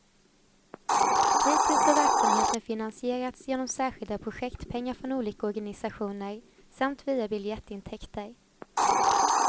Hittills har verksamheten finansierats genom särskilda projektpengar från olika organisationer, samt via biljettintäkter.